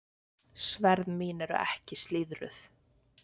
Sverð mín eru ekki slíðruð.